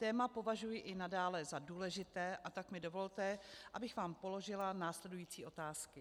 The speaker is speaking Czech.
Téma považuji i nadále za důležité, a tak mi dovolte, abych vám položila následující otázky.